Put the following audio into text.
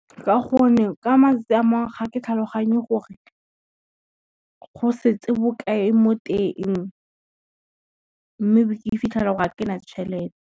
Ka gonne ka matsatsi a mangwe ga ke tlhaloganye gore, go setse bokae mo teng mme be ke ifitlhelela ga kena tšhelete.